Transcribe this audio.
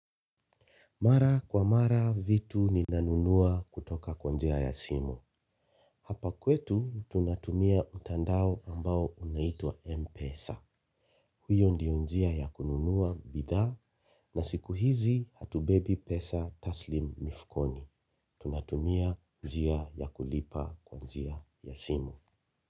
Mara kwa mara vitu ninanunua kutoka kwa njia ya simu. Hapa kwetu tunatumia mtandao ambao unaitwa M-Pesa. Hiyo ndiyo njia ya kununua bidhaa na siku hizi hatubebi pesa taslimu mifukoni. Tunatumia njia ya kulipa kwanjia ya simu.